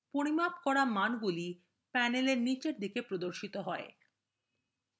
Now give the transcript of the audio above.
পরিমাপ করা মানগুলি panel এর নীচে প্রদর্শিত হয়